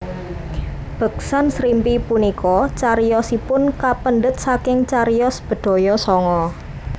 Beksan Srimpi punika cariyosipun kapendhet saking cariyos Bedhaya Sanga